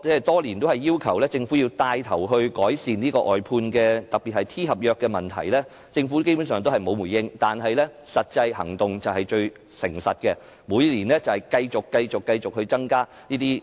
多年來我要求政府牽頭改善外判，特別是 T 合約的問題，政府基本上沒有回應，但實際行動便是最誠實的，這些職位的聘請人數續見增加。